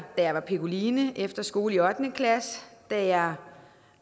da jeg var piccoline efter skole i ottende klasse da jeg